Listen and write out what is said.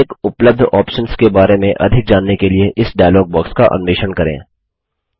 प्रत्येक उपलब्ध ऑप्शन्स के बारे में अधिक जानने के लिए इस डायलॉग बॉक्स का अन्वेषण करें